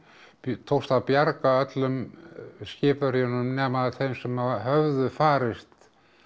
tókst að bjarga öllum skipverjunum nema þeim sem höfðu farist